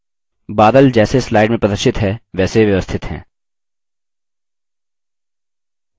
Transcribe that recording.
बादल जैसे slide में प्रदर्शित हैं वैसे व्यवस्थित हैं